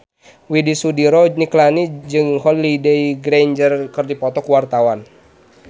Widy Soediro Nichlany jeung Holliday Grainger keur dipoto ku wartawan